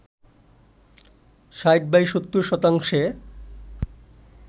৬০/৭০ শতাংশে